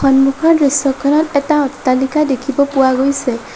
সন্মুখৰ দৃশ্যখনত এটা অট্টালিকা দেখিব পোৱা গৈছে।